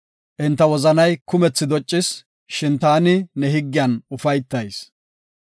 Enta wozanay kumthi doccis; shin taani ne higgiyan ufaytayis.